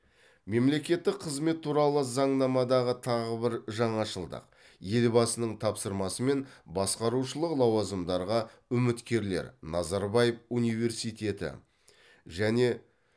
мемлекеттік қызмет туралы заңнамадағы тағы бір жаңашылдық елбасының тапсырмасымен басқарушылық лауазымдарға үміткерлер назарбаев университеті және